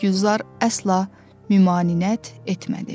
Gülzar əsla məmanəət etmədi.